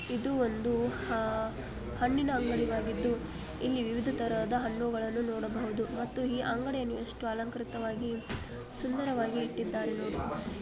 ಇದು ಒಂದು ಹಣ್ಣಿನ ಅಂಗಡಿ ಆಗಿದ್ದು ಇಲ್ಲಿ ವಿವಿಧ ತರದ ಹಣ್ಣುಗಳನ್ನು ನೋಡಬಹುದು ಮತ್ತು ಈ ಅಂಗಡಿಯನ್ನು ಎಷ್ಟು ಸುಂದರವಾಗಿ ಅಲಂಕೃತವಾಗಿ ಸುಂದರವಾಗಿ ಇಟ್ಟಿದ್ದಾರೆ ನೋಡಿ.